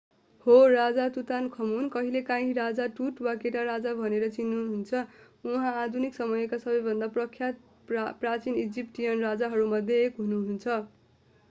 हो राजा तुतानखमुन कहिलेकाँही राजा टुट वा केटा राजा भनेर चिनिनुहुन्छ उहाँ आधुनिक समयका सबैभन्दा प्रख्यात प्राचीन इजिप्टियन राजाहरूमध्ये एक हुनुहुन्छ